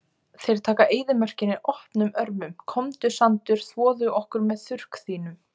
Þeir taka eyðimörkinni opnum örmum, komdu sandur, þvoðu okkur með þurrk þínum.